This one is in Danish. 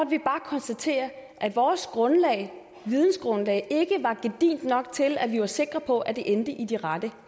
vi bare konstatere at vores vidensgrundlag ikke var gedigent nok til at vi var sikre på at de endte i de rette